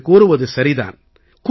நீங்கள் கூறுவது சரி தான்